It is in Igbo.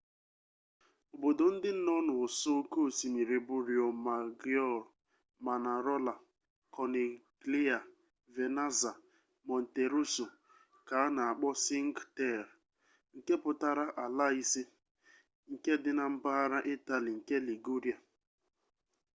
obodo ndị nọ n'ụsọ oke osimiri bụ riomaggiore manarola kọniglia venaza and monteroso ka a na-akpọ sinque terre nke pụtara ala ise nke dị na mpaghara itali nke liguria